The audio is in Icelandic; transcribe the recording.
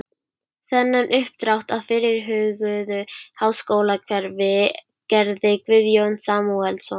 Þennan uppdrátt af fyrirhuguðu háskólahverfi gerði Guðjón Samúelsson